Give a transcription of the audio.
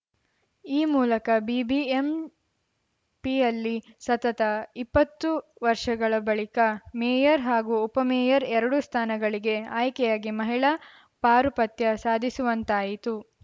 ಈ ಮೂಲಕ ಬಿಬಿಎಂಪಿಯಲ್ಲಿ ಸತತ ಇಪ್ಪತ್ತು ವರ್ಷಗಳ ಬಳಿಕ ಮೇಯರ್‌ ಹಾಗೂ ಉಪಮೇಯರ್‌ ಎರಡೂ ಸ್ಥಾನಗಳಿಗೆ ಆಯ್ಕೆಯಾಗಿ ಮಹಿಳಾ ಪಾರುಪತ್ಯ ಸಾಧಿಸುವಂತಾಯಿತು